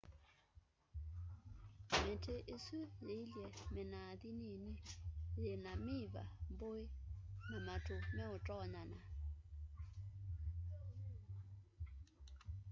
miti isu yielye minathi nini yina miva mbũi na matu meutonyana